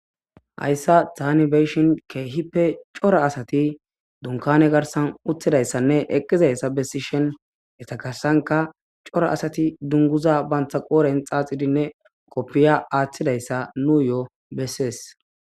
Hayssa tani be7shin keehippe cora asati dunkane garsan uttidayssanne eqqizayssa bessishen etakarsanka cora asati dunguza bantha qooren xaaxidinne koppiya aaththidayssa nu yo7o bessees.